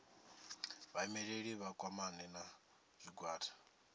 vhaimeleli vha kwamane na zwigwada